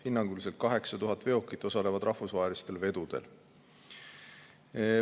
Hinnanguliselt 8000 veokit osalevad rahvusvahelistel vedudel.